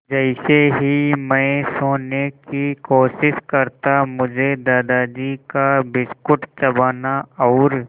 जैसे ही मैं सोने की कोशिश करता मुझे दादाजी का बिस्कुट चबाना और